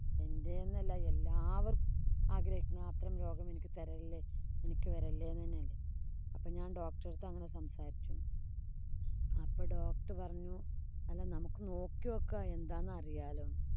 എന്‍റേന്നല്ല എല്ലാവര്‍ക്കും ആഗ്രഹിക്കുന്നത് അത്തരം രോഗം എനിക്ക് തരല്ലേ, എനിക്ക് വരല്ലേ എന്ന് തന്നെയല്ലേ. അപ്പം ഞാന്‍ doctor ഉടെ അടുത്ത് ഞാന്‍ അങ്ങനെ സംസാരിച്ചു അപ്പൊ doctor പറഞ്ഞു അല്ല നമുക്ക് നോക്കി നോക്കാം. എന്താന്നറിയാലോ.